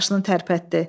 Qaşını tərpətdi.